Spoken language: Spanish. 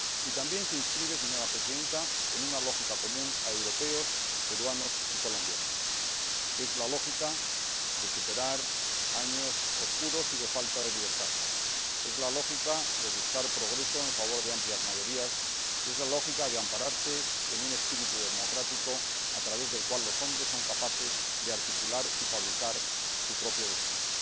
Y también se inscribe, señora Presidenta, en una lógica común a europeos, peruanos y colombianos la lógica de superar años oscuros y de falta de libertad, la lógica de buscar progreso en favor de amplias mayorías y la lógica de ampararse en un espíritu democrático a través del cual los hombres son capaces de articular y fabricar su propio destino.